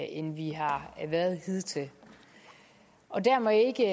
end vi har været hidtil dermed ikke